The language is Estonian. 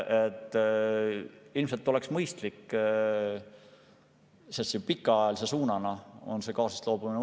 Ilmselt oleks mõistlik, kui pikaajaline suund oleks gaasist loobumine.